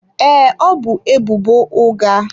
Ee, ọ bu ebubo ụgha.